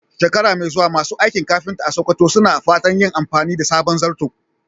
Shekara mai zuwa, masu aikin kafinta a Sakkwato suna fatan yin amfani da sabon zarto.